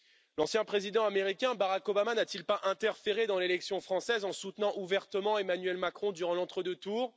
L'ancien président américain Barack Obama n'a t il pas interféré dans l'élection française en soutenant ouvertement Emmanuel Macron durant l'entre deux tours?